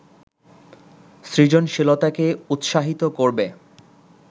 সৃজনশীলতাকে উৎসাহিত করবে